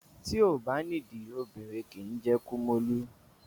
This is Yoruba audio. Ti o ba nìdí obìnrin ó kín jẹ́ kí kumólú